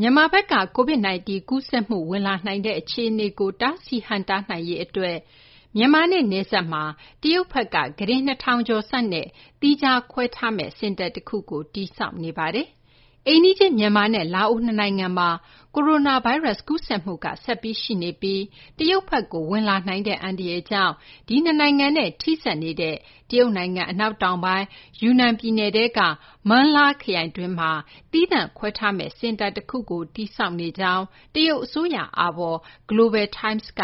မြန်မာဘက်က COVID-19 ကူးစက်မှု ဝင်လာနိုင်တဲ့ အခြေအနေကို တားဆီး ဟန့်တားနိုင်ရေး အတွက် မြန်မာနဲ့ နယ်စပ်မှာ တရုတ်ဘက်က ကုတင် ၂၀၀၀ ကျော်ဆန့် သီးခြားခွဲထားမယ့် စင်တာ တခုကို တည်ဆောက်နေပါတယ်။ အိမ်နီးချင်း မြန်မာနဲ့ လာအို နှစ်နိုင်ငံမှာ ကိုရိုနာ ဗိုင်းရပ်စ် ကူးစက်မှုက ဆက်ပြီး ရှိနေပြီး တရုတ်ဘက်ကို ဝင်လာနိုင်တဲ့ အန္တရာယ်ကြောင့် ဒီနှစ်နိုင်ငံနဲ့ ထိစပ်နေတဲ့ တရုတ်နိုင်ငံ အနောက်တောင်ပိုင်း ယူနန် ပြည်နယ်ထဲက Meng La ခရိုင်တွင်းမှာ သီးသန့်ခွဲထားမယ့် စင်တာ တခုကို တည်ဆောက်နေကြောင်း တရုတ် အစိုးရ အာဘော် Global Times က